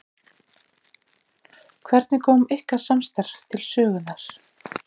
Hvernig kom ykkar samstarf til sögunnar?